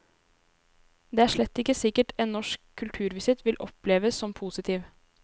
Det er slett ikke sikkert en norsk kulturvisitt vil oppleves som positiv.